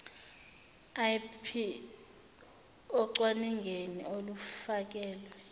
ip ocwaningeni olufakelwe